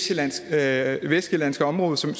jeg er det vestsjællandske område som